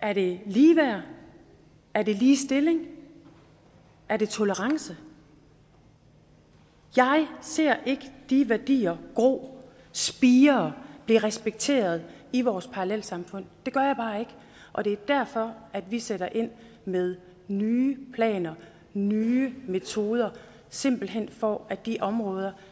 er det ligeværd er det ligestilling er det tolerance jeg ser ikke de værdier gro spire blive respekteret i vores parallelsamfund det gør jeg bare ikke og det er derfor at vi sætter ind med nye planer nye metoder simpelt hen for at de områder